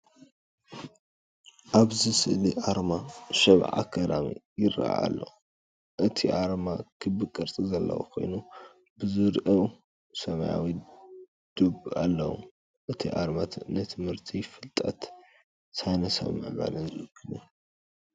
ኣብዚ ስእሊ ኣርማ “ሸባ ኣካዳሚ” ይረአ ኣሎ። እቲ ኣርማ ክቢ ቅርጺ ዘለዎ ኮይኑ፡ ኣብ ዙርያኡ ሰማያዊ ዶብ ኣለዎ። እቲ ኣርማ ንትምህርቲ፡ ፍልጠትን ሳይንሳዊ ምዕባለን ዝውክል እዩ።